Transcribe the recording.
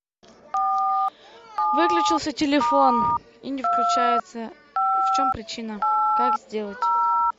выключился телефон и не включается в чем причина как сделать